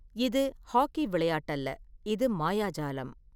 இது ஹாக்கி விளையாட்டல்ல, இது மாயாஜாலம்.